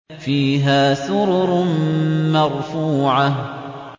فِيهَا سُرُرٌ مَّرْفُوعَةٌ